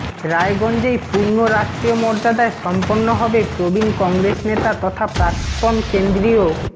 রায়গঞ্জেই পূর্ণ রাষ্ট্রীয় মর্যাদায় সম্পন্ন হবে প্রবীণ কংগ্রেস নেতা তথা প্রাক্তন কেন্দ্রীয়